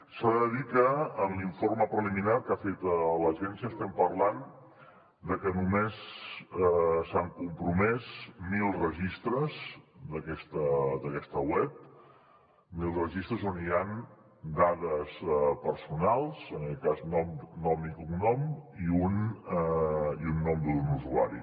s’ha de dir que en l’informe preliminar que ha fet l’agència estem parlant de que només s’han compromès mil registres d’aquesta web mil registres on hi han dades personals en aquest cas nom i cognom i un nom d’un usuari